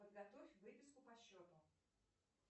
подготовь выписку по счету